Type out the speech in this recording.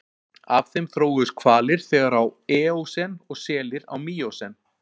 Af þeim þróuðust hvalir þegar á eósen og selir á míósen.